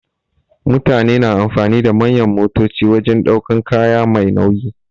Mutane na amfani da manyan motoci wajen ɗaukan kaya Mai nauyi.